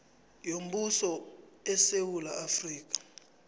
yombuso esewula afrika